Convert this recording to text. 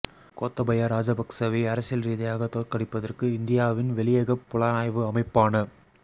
கோத்தாபய ராஜபக்சவை அரசியல் ரீதியாகத் தோற்கடிப்பதற்கு இந்தியாவின் வெளியகப் புலனாய்வு அமைப்பான